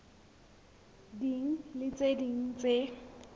ding le tse ding tse